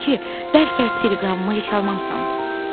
Mən də dedim ki, bəlkə teleqramımı heç almamısan.